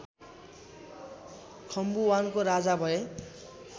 खम्बुवानको राजा भए